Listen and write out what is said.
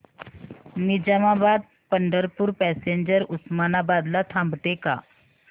Nizamabad Pandharpur passenger Osmanabad ला थांबते का